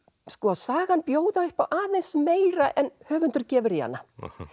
sagan bjóða upp á aðeins meira en höfundur gefur í hana